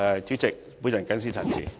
主席，我謹此陳辭。